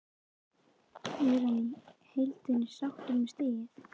Er hann í heildina sáttur með stigið?